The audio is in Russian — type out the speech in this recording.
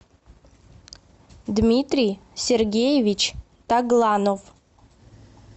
дмитрий сергеевич тагланов